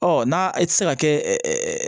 Ɔ n'a i tɛ se ka kɛ